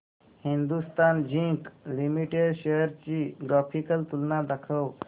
Hindustan zinc limited shares ची graphical तुलना दाखव